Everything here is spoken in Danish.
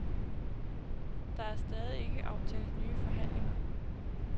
Der er stadig ikke aftalt nye forhandlinger.